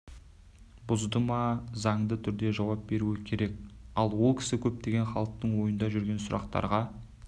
бұзды ма заңды түрде жауап беруі керек ал ол кісі көптеген халықтың ойында жүрген сұрақтарға